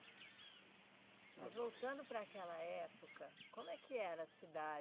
Mas voltando para aquela época, como é que era a cidade?